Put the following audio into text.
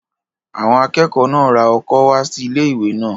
Àwọn akẹ́kọ̀ọ́ náà ra ọkọ́ wá sí ilé-ìwé náà